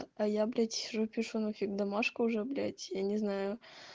а я блять сижу пишу нафиг домашку уже блять я не знаю